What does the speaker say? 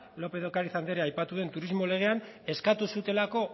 lópez de ocariz andereak aipatu duen turismo legean eskatu zutelako